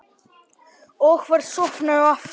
Og var sofnaður aftur.